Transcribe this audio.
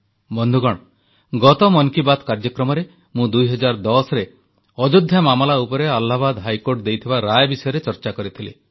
ବନ୍ଧୁଗଣ ଗତ ମନ କୀ ବାତ୍ କାର୍ଯ୍ୟକ୍ରମରେ ମୁଁ 2010ରେ ଅଯୋଧ୍ୟା ମାମଲା ଉପରେ ଆହ୍ଲାବାଦ ହାଇକୋର୍ଟ ଦେଇଥିବା ରାୟ ବିଷୟରେ ଚର୍ଚ୍ଚା କରିଥିଲି